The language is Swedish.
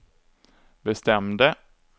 bestämde